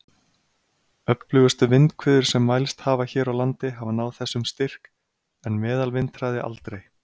Öflugustu vindhviður sem mælst hafa hér á landi hafa náð þessum styrk, en meðalvindhraði aldrei.